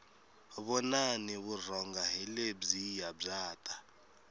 vonani vurhonga hi lebyiya bya ta